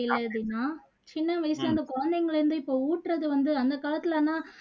இல்ல தீனா சின்ன வயசுல அந்த குழந்தைங்களை வந்து இப்போ ஊட்டுறது வந்து அந்த காலத்துல எல்லாம்